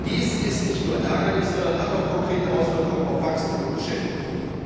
Dies ist nicht nur ärgerlich, sondern hat auch konkrete Auswirkungen auf Wachstum und Beschäftigung.